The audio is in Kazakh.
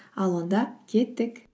ал онда кеттік